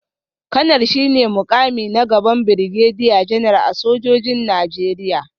Kanar shi ne mukami a gaban Birgediya Janar a sojojin Najeriya